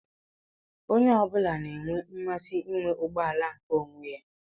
Onye ọ bụla n'enwe mmasị inwe ụgbọala nke onwé.